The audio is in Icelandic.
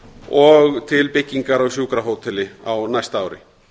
og til byggingar á sjúkrahóteli á næsta ári